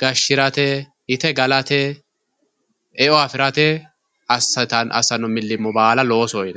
gashirate ite galate eo afirate asano milimo bala loosoho yinanni